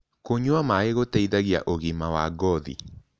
Kũnyua maĩ gũteĩthagĩa ũgima wa ngothĩ